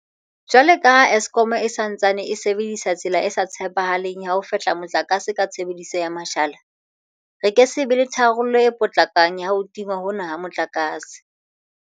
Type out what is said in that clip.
Jwalo ka ha Eskom e sa ntsaneng e sebedisa tsela e sa tshepahaleng ya ho fehla motlakase ka tshebediso ya mashala, re ke se be le tharollo e potlakang ya ho tingwa hona ha motlakase.